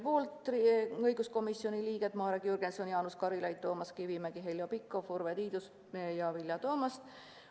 Poolt oli kuus õiguskomisjoni liiget: Marek Jürgenson, Jaanus Karilaid, Toomas Kivimägi, Heljo Pikhof, Urve Tiidus ja Vilja Toomast.